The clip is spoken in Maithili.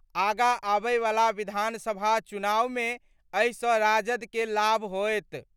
आगां आबय वला विधानसभा चुनाव मे एहि स राजद कें लाभ होएत।